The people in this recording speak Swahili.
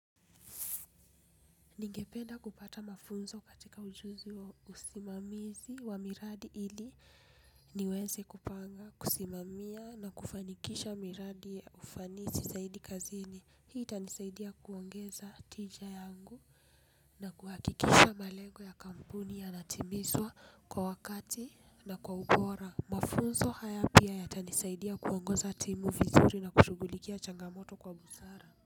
Ningependa kupata mafunzo katika ujuzi wa usimamizi wa miradi ili niweze kupanga, kusimamia na kufanikisha miradi ya ufanisi saidi kazini. Hii itanisaidia kuongeza tija yangu na kuhakikisha malengo ya kampuni yanatimizwa kwa wakati na kwa ubora. Mafunzo haya pia yatanisaidia kuongoza timu vizuri na kushughulikia changamoto kwa busara.